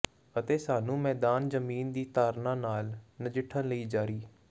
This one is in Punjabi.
ਅਤੇ ਸਾਨੂੰ ਮੈਦਾਨ ਜ਼ਮੀਨ ਦੀ ਧਾਰਨਾ ਨਾਲ ਨਜਿੱਠਣ ਲਈ ਜਾਰੀ